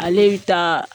Ale bɛ taa